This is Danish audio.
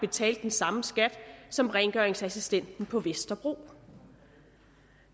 betalte den samme skat som rengøringsassistenten på vesterbro